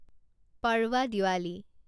Padwa Diwali